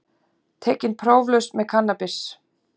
Tekinn próflaus með kannabis